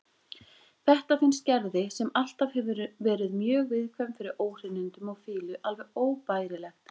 Þetta finnst Gerði, sem alltaf hefur verið mjög viðkvæm fyrir óhreinindum og fýlu, alveg óbærilegt.